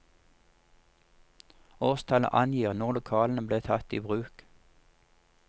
Årstallet angir når lokalene ble tatt i bruk.